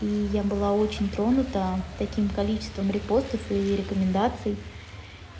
и я была очень тронута таким количеством репостов и рекомендаций